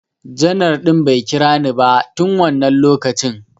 Janar ɗin bai kira ni ba tun wannan lokacin